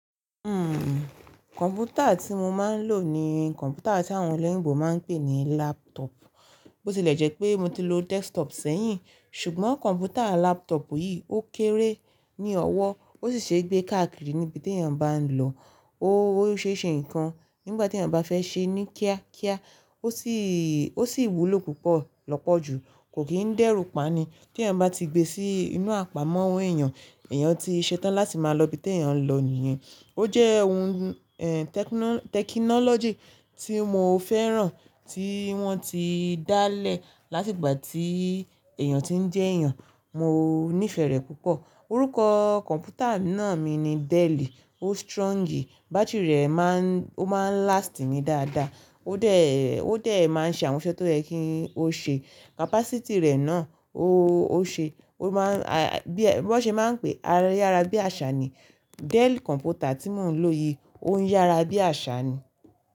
Uhm, kọ̀mpútà tí mo máa ń lò ní kọ̀mpútà tí àwọn olóyìnbo máa ń pè ní laptop. Bó tilẹ̀ jẹ́ pé mo ti lo desktop sẹ́yìn, ṣùgbọ́n kọ̀mpútà laptop yìí ó kéré ní ọwọ́ ó sì ṣe gbé káàkiri níbi tí èèyàn bá ń lọ. Ó ṣe ṣe nǹkan nígbà tí èèyàn bá fẹ́ ṣe ní kíá kíá ó ṣì wúlò púpọ̀ lọ́pọ̀ ju, kò kìí dẹ́rù pani. Tí èèyàn bá ti gbe sí inú àpamọ́ owó èèyàn, èèyàn ti ṣetán láti máa lọ ibi tí èèyàn ń lọ nìyẹn. Ó jẹ́ ohun, eh, technology tí mo fẹ́ràn tí wọ́n ti dálẹ̀ láti ìgbà tí èèyàn ti ń jẹ́ èèyàn. Mo nífẹ̀ẹ́ rẹ̀ púpọ̀. Orúkọ kọ̀mpútà náà mi ni Dell. Ó strong, bátìrì rẹ̀ má ń, ó má ń last mi dáadáa. Ó dẹ̀, ó dẹ̀ máa ń ṣe àwọn iṣe tó yẹ kí ó ṣe. Capacity rẹ̀ náà ó, ó ṣe, ó maá ń, bí wọ́n ṣe máa ń pé, ayára bí àṣá ni. Dell kọ̀mpútà tí mò ń lò yìí ó ń yára bí àṣá ni.